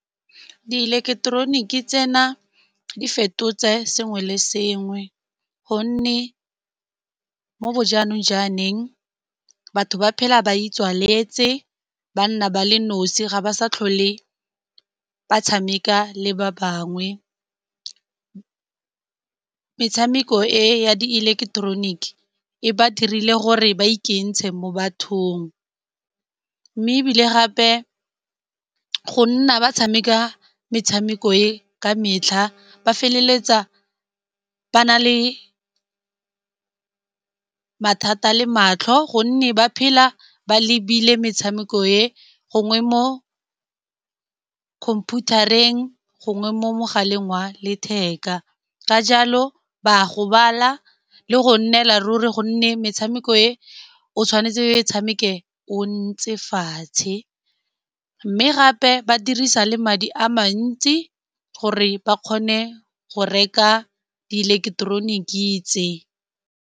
Di ileketeroniki tsena di fetotse sengwe le sengwe, gonne mo bo jaanong jwaneng batho ba phela ba itswaletse ba nna ba le nosi ga ba sa tlhole ba tshameka le ba bangwe. Metshameko e ya di eleketeroniki e ba dirile gore ba ikentshe mo bathong. Mme ebile gape go nna ba tshameka metshameko e ka metlha, ba feleletsa ba na le mathata le matlho gonne ba phela ba lebile metshameko e gongwe mo khomphutareng gongwe mo mogaleng wa letheka. Ka jalo ba a gobala le go nnela ruri gonne metshameko e o tshwanetse tshameke o ntse fatshe, mme gape ba dirisa le madi a mantsi gore ba kgone go reka di ileketeroniki tse.